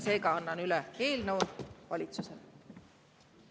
Seega annan üle valitsusele.